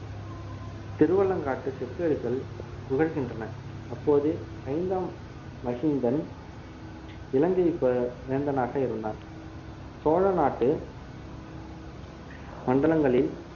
திருவாலங்காட்டுச் செப்பேடுகள் புகழ்கின்றன அப்போது ஐந்தாம் மகிந்தன் இலங்கை வே~ வேந்தனாக இருந்தார் சோழ நாட்டு மண்டலங்களில்